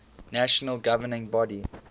national governing body